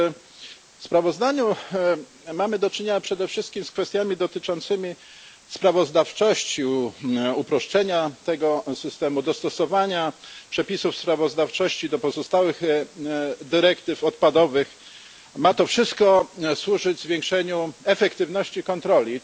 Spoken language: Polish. W sprawozdaniu mamy do czynienia przede wszystkim z kwestiami dotyczącymi sprawozdawczości uproszczenia tego systemu, dostosowania przepisów sprawozdawczości do pozostałych dyrektyw odpadowych. Ma to wszystko ma służyć zwiększeniu efektywności kontroli.